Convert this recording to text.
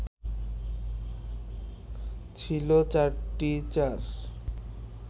ছিল চারটি চার